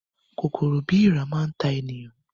Kòkòrò bíi èèrà máa ta ènìyàn